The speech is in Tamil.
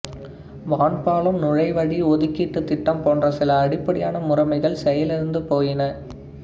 வான்பாலம் நுழைவழி ஒதுக்கீட்டுத் திட்டம் போன்ற சில அடிப்படையான முறைமைகள் செயலிழந்து போயின